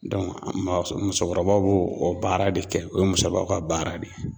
musokɔrɔbaw b'o o baara de kɛ, o ye musokɔrɔbaw ka baara de ye.